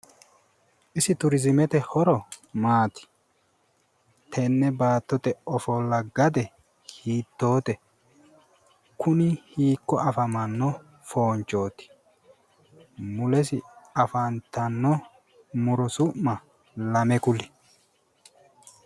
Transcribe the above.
Isie turiizimete horo maati? Tenne baattote ofollo gade hiittote? kuni hiikko afamanno foonchooti? Mulesi afantanno muro su'ma lame kuli?